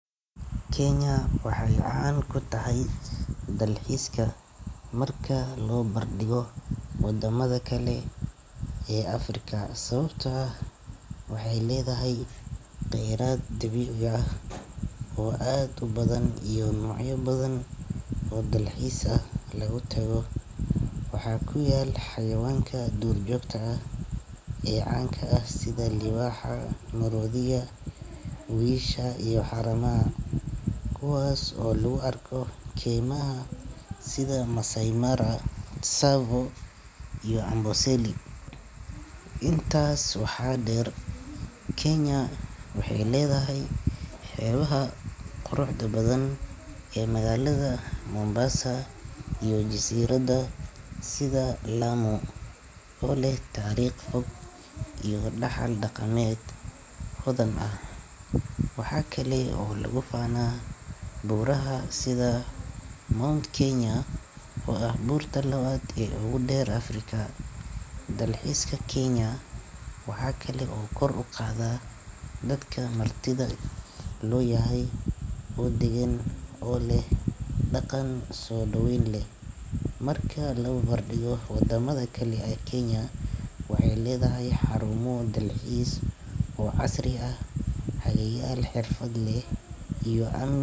Kenya waxay caan ku tahay dalxiiska marka loo barbardhigo wadamada kale ee Afrika sababtoo ah waxay leedahay kheyraad dabiici ah oo aad u badan iyo noocyo badan oo dalxiis lagu tago. Waxaa ku yaal xayawaanka duurjoogta ah ee caanka ah sida libaaxa, maroodiga, wiyisha, iyo haramaha kuwaas oo lagu arki karo keymaha sida Maasai Mara, Tsavo/cs], iyo Amboseli. Intaas waxaa dheer Kenya waxay leedahay xeebaha quruxda badan ee magaalada Mombasa iyo jasiiradaha sida Lamu oo leh taariikh fog iyo dhaxal dhaqameed hodan ah. Waxa kale oo lagu faanaa buuraha sida Mount Kenya oo ah buurta labaad ee ugu dheer Afrika. Dalxiiska Kenya waxaa kale oo kor u qaada dadka martida loo yahay oo deggan oo leh dhaqan soo dhoweyn leh. Marka la barbardhigo wadamada kale, Kenya waxay leedahay xarumo dalxiis oo casri ah, hagayaal xirfad leh, iyo am.